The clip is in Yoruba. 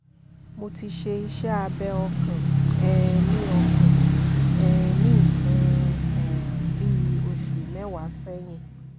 mo ti ṣe iṣẹ́ abẹ́ ọkàn um ní ọkàn um ní nǹkan um bí oṣù mẹ́wàá sẹ́yìn